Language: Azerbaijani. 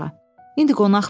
İndi qonaq bilər.